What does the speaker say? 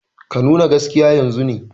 Ka nuna gaskiya yanzun ne!